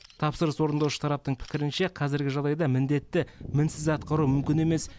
тапсырыс орындаушы тараптың пікірінше қазіргі жағдайда міндетті мінсіз атқару мүмкін емес